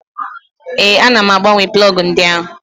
Ee, ana m agbanwe plọgụ ndị ahụ.